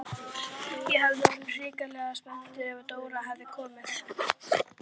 Ég hefði orðið hrikalega spældur ef Dóra hefði komið ein!